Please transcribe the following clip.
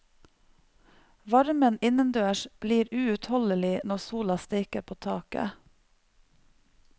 Varmen innendørs blir uutholdelig når sola steiker på taket.